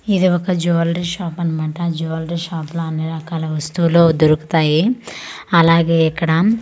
ఇది ఒక jewellery shop అన్నమాట జువెలరీ షాప్ ల అన్ని రకాల వస్తువులు దొరుకుతాయి అలాగే ఇక్కడ--